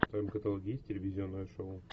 в твоем каталоге есть телевизионное шоу